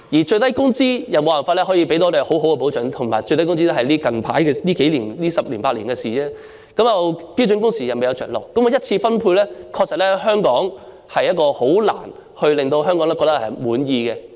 最低工資亦沒有辦法可以為我們提供保障，而且最低工資只是最近十年八年的事，加上標準工時亦未有着落，香港的一次分配確實很難令香港人感到滿意。